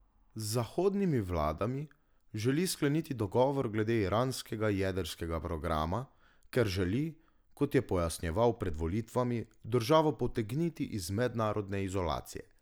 Z zahodnimi vladami želi skleniti dogovor glede iranskega jedrskega programa, ker želi, kot je pojasnjeval pred volitvami, državo potegniti iz mednarodne izolacije.